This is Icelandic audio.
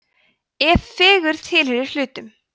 ef fegurð tilheyrir hlutum